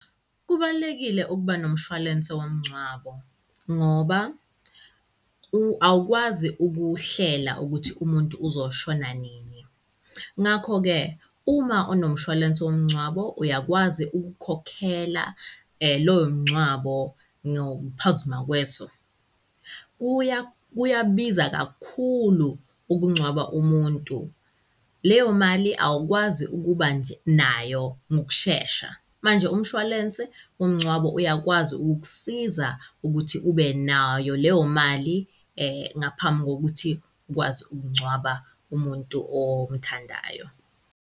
Kubalulekile ukuba nomshwalense womngcwabo ngoba u awukwazi ukuhlela ukuthi umuntu uzoshona nini. Ngakho-ke uma unomshwalense womngcwabo, uyakwazi ukukhokhela lowo mngcwabo ngokuphazima kweso. Kuya kuyabiza kakhulu okungcwaba umuntu. Leyo mali awukwazi ukuba nje nayo ngokushesha, manje umshwalense womngcwabo uyakwazi ukukusiza ukuthi ube nayo leyo mali ngaphambi kokuthi ukwazi ukungcwaba umuntu omthandayo.